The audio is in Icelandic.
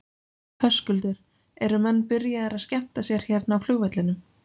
Höskuldur: Eru menn byrjaðir að skemmta sér hérna á flugvellinum?